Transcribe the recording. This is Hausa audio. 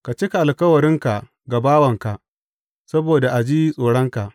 Ka cika alkawarinka ga bawanka, saboda a ji tsoronka.